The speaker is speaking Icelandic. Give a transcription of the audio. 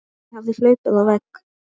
Ég hafði hlaupið á vegg.